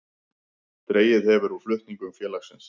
Dregið hefur úr flutningum félagsins